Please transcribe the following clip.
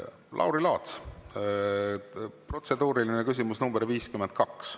Lauri Laats, protseduuriline küsimus nr 52.